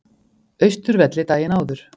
Austurvelli daginn áður.